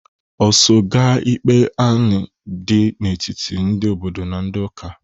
I so gaa ikpe anị dị n'etiti ndị obodo na ndị ụka?